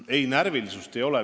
Ei, närvilisust ei ole.